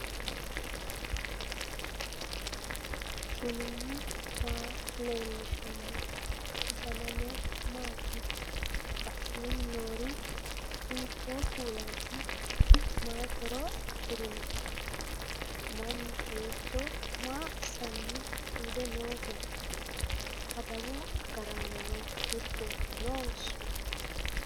knuni maa leellishanno ? danano maati ? badheenni noori hiitto kuulaati ? mayi horo afirino ? mannu kawiicho maa assanni tuude nooho adawu agaraanono giddo noonso